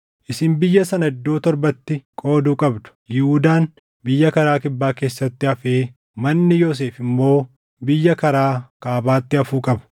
Isin biyya sana iddoo torbatti qoodu qabdu. Yihuudaan biyya karaa Kibbaa keessatti hafee manni Yoosef immoo biyya karaa kaabaatti hafuu qaba.